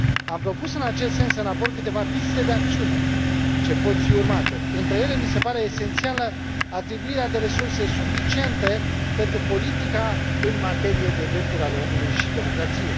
Am propus în acest sens în raport câteva piste de acțiune ce pot fi urmate. Între ele, mi se pare esențială atribuirea de resurse suficiente pentru politica în materie de drepturi ale omului și democrație.